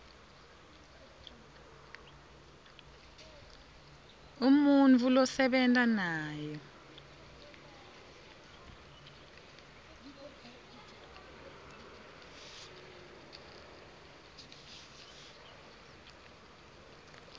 umuntfu losebenta naye